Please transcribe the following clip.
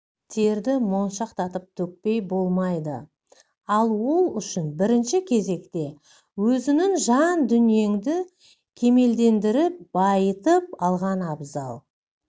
терді моншақтатып төкпей болмайды ал ол үшін бірінші кезекте өзіңнің жан-дүниеңді кемелдендіріп байытып алған абзал